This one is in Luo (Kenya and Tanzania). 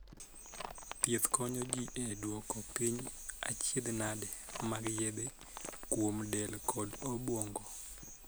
Thieth konyo jii e duoko piny achiedhnade mag yedhe kuom del kod obuongo.